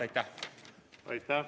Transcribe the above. Aitäh!